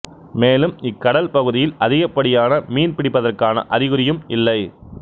மேலும் இக்கடல் பகுதியில் அதிகப்படியான மீன் பிடிப்பதற்கான அறிகுறியும் இல்லை